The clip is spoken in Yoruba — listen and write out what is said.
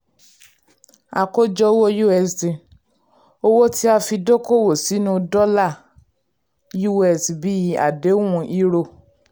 àkójọ owó usd: owó tí a fi dókòwò sínú dọ́là us bíi àdéhùn euro.